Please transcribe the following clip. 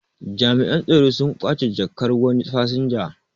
Jami'an tsaro sun ƙwace jakkar wani fasinja